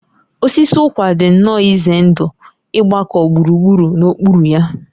Osisi ụkwa dị nnọọ ize ndụ ịgbakọ gburugburu n'okpuru ya